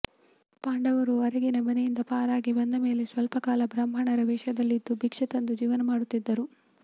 ಪಾಂಡವರು ಅರಗಿನ ಮನೆಯಿಂದ ಪಾರಾಗಿ ಬಂದ ಮೇಲೆ ಸ್ವಲ್ಪ ಕಾಲ ಬ್ರಾಹ್ಮಣರ ವೇಷದಲ್ಲಿದ್ದು ಭಿಕ್ಷೆ ತಂದು ಜೀವನ ಮಾಡುತ್ತಿದ್ದರು